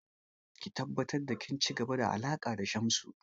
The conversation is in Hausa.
Ki tabbatar da kin ci gaba da alaƙa da Shamsu!